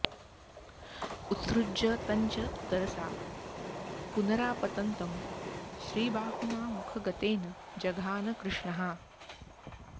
उत्सृज्य तं च तरसा पुनरापतन्तं श्रीबाहुना मुखगतेन जघान कृष्णः